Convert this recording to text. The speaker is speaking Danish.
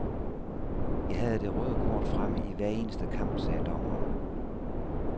Jeg havde det røde kort fremme i hver eneste kamp, sagde dommeren.